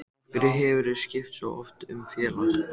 Af hverju hefurðu skipt svo oft um félag?